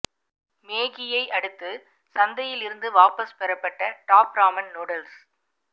மேகியை அடுத்து சந்தையில் இருந்து வாபஸ் பெறப்பட்ட டாப் ராமன் நூடுல்ஸ்